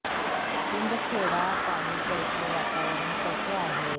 शिंदखेडा तालुक्याचे वातावरण कसे आहे